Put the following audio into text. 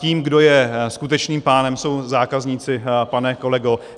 Tím, kdo je skutečným pánem, jsou zákazníci, pane kolego.